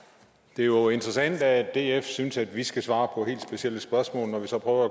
det er jo interessant at df synes at vi skal svare på helt specielle spørgsmål og når vi så prøver